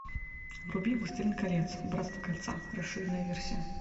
вруби властелин колец братство кольца расширенная версия